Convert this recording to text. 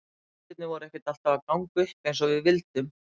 Hlutirnir voru ekkert alltaf að ganga upp eins og við vildum.